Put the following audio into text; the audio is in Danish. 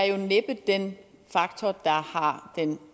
er næppe den faktor der har den